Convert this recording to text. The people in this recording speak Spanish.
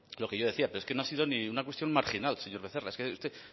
lo que yo decía pero es que no ha sido ni una cuestión marginal señor becerra es que usted